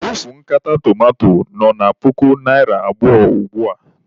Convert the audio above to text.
Ofu nkata tomanto nọ na puku naịra abụọ ugbua.